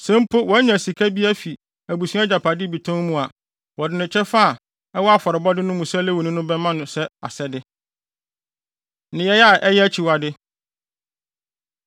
Sɛ mpo wanya sika bi afi abusua agyapade bi tɔn mu a, wɔde ne kyɛfa a ɛwɔ afɔrebɔde no mu sɛ Lewini no bɛma no sɛ asɛde. Nneyɛe A Ɛyɛ Akyiwade